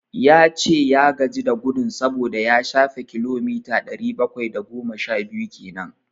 Ya ce ya gaji da gudun saboda ya shafe kilomita ɗari bakwai da goma sha biyu kenan.